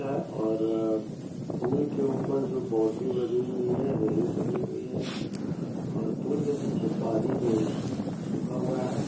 है औररर पूल के ऊपर जो बॉन्ड्री बनी हुई है रेलिंग बनी हुई है और पूल के नीचे पानी नही है सूखा हुआ है।